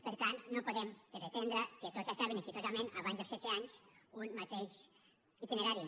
per tant no podem pretendre que tots acabin amb èxit abans dels setze anys un mateix itinerari